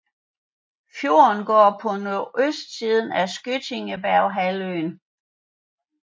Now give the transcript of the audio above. Fjorden går på nordøstsiden af Skjøtningberghalvøen